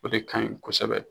O de kaɲi kosɛbɛ